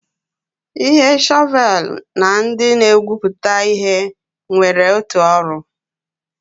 Ihe shọvel na ndị na-egwupụta ihe nwere otu ọrụ.